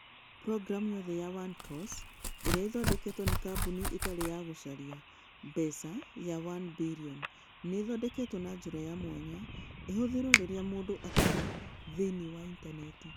Programu yothe ya onecourse ĩrĩa ĩthondeketwo nĩ kambuni ĩtarĩ ya gũcaria mbeca ya onebillion nĩ ĩthondeketwo na njĩra ya mwanya ĩhũthĩrũo rĩrĩa mũndũ atarĩ thĩinĩ wa Intaneti.